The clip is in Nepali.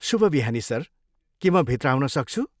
शुभ बिहानी सर, के म भित्र आउन सक्छु?